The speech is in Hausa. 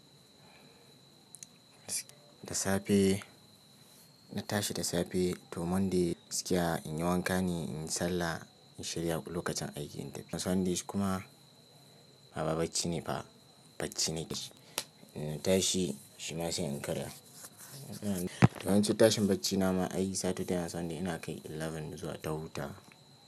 Da safe na tashi da safe to Monday, gaskiya in yi wanka ne, in yi sallah, in shirya lokacin aiki in tafi Sunday kuma baba bacci ne fa, bacci ne. In na tashi, shi ma sai in karya. To yawanci tashin bacci na ma ai Saturday da Sunday ina kai sha ɗaya zuwa ta hutawa.